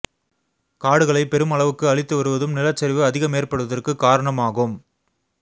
காடுகளை பெரும் அளவுக்கு அழித்து வருவதும் நிலச்சரிவு அதிகம் ஏற்படுவதற்கு காரணம் ஆகும்